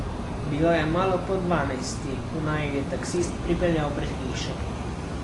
Bilo je malo po dvanajsti, ko naju je taksist pripeljal pred hišo.